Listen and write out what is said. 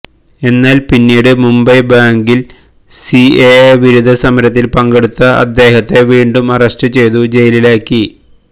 എന്നാല് പിന്നീട് മുംബൈ ബാഗില് സിഎഎ വിരുദ്ധ സമരത്തില് പങ്കെടുത്ത അദ്ദേഹത്തെ വീണ്ടും അറസ്റ്റ് ചെയ്തു ജയിലിലാക്കി